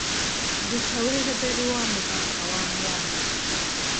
rũta weretheri wa mũthanga wa mwamba